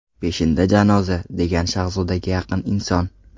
Peshinda janoza”, degan Shahzodaga yaqin inson.